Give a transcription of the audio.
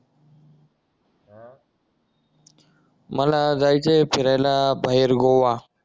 मला जायचंय फिरायला बाहेर गोवा